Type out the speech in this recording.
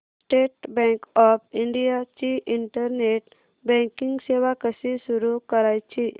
state Bank of India ची internet banking सेवा कशी सुरू करायची